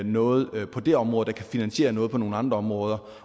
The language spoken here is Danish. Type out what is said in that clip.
noget på det område der kan finansiere noget på nogle andre områder